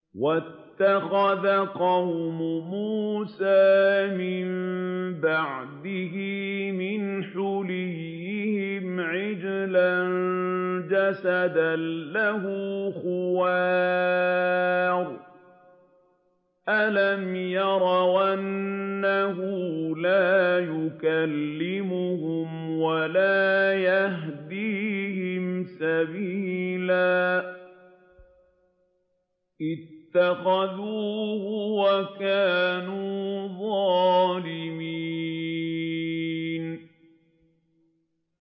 وَاتَّخَذَ قَوْمُ مُوسَىٰ مِن بَعْدِهِ مِنْ حُلِيِّهِمْ عِجْلًا جَسَدًا لَّهُ خُوَارٌ ۚ أَلَمْ يَرَوْا أَنَّهُ لَا يُكَلِّمُهُمْ وَلَا يَهْدِيهِمْ سَبِيلًا ۘ اتَّخَذُوهُ وَكَانُوا ظَالِمِينَ